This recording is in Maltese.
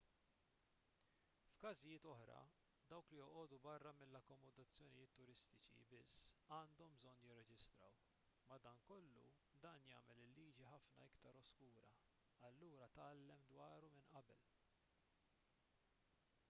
f'każijiet oħra dawk li joqogħdu barra mill-akkomodazzjonijiet turistiċi biss għandhom bżonn jirreġistraw madankollu dan jagħmel il-liġi ħafna iktar oskura allura tgħallem dwaru minn qabel